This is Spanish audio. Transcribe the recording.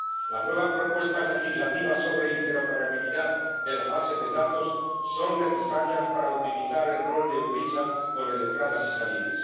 Las nuevas propuestas legislativas sobre interoperabilidad de las bases de datos son necesarias para optimizar el rol de eu-LISA con el Sistema de Entradas y Salidas.